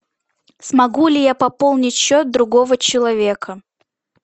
смогу ли я пополнить счет другого человека